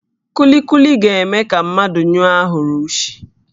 Kulikuli ga-eme ka mmadụ nyụọ ahụrụ ushi